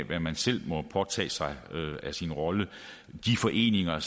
hvad man selv må påtage sig af sin rolle de foreninger har